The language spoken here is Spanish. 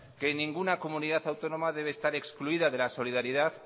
que ninguna comunidad autónoma debe estar excluida de la solidaridad